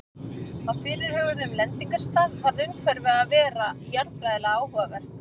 Á fyrirhuguðum lendingarstað varð umhverfið að vera jarðfræðilega áhugavert.